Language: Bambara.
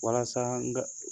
Walasa n ka